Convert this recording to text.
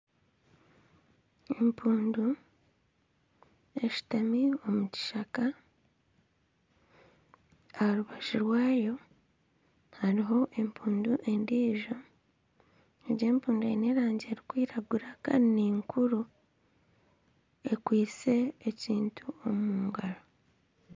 Empundu eshutami omu kishaka. Aha rubaju rwayo hariho empundu endiijo. Egyo empundu eine erangi erikwiragura kandi ninkuru. Ekwaitse ekintu omu ngaro.